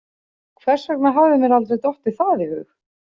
Hvers vegna hafði mér aldrei dottið það í hug?